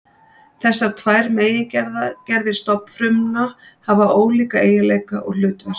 Þessar tvær megingerðir stofnfrumna hafa ólíka eiginleika og hlutverk.